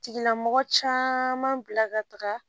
Tigilamɔgɔ caman bila ka taga